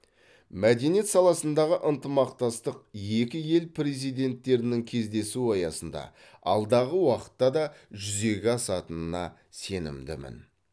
мәдениет саласындағы ынтымақтастық екі ел президенттерінің кездесуі аясында алдағы уақытта да жүзеге асатынына сенімдімін